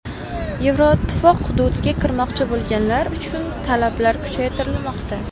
Yevroittifoq hududiga kirmoqchi bo‘lganlar uchun talablar kuchaytirilmoqda.